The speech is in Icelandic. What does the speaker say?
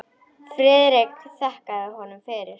Friðrik þakkaði honum fyrir.